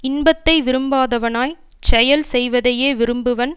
இன்பத்தை விரும்பாதவனாய்ச் செயல் செய்வதையே விரும்புபவன்